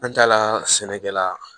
An taa la sɛnɛkɛla